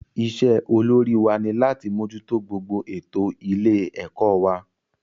Isé olórí wa ni láti mójútó gbogbo ètò ilé ẹ̀kọ́ wa